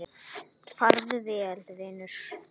Farðu vel, vinur.